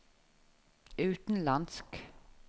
utenlandsk